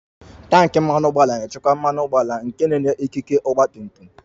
Tanki mmanụ ụgbọala na-echekwa mmanụ ụgbọala nke na-enye ikike ọgba tum tum